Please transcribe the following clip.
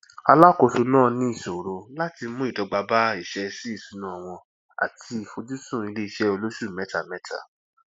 alákóso naa ní ìṣòro láti mú ìdọgba bá ìṣẹsíìṣúná wọn ati ìfojusùn iléiṣẹ olósù mẹtamẹta